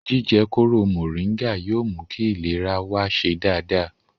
Jíjẹ kóró mọ̀nríngà yóò mú kí ìlera wa ṣe dáadáa